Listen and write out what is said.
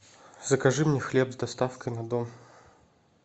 закажи мне хлеб с доставкой на дом